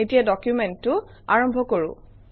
এতিয়া ডকুমেণ্টটো আৰম্ভ কৰোঁ